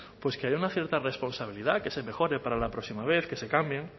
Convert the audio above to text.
que haya una cierta responsabilidad que se mejore para la próxima vez que se cambien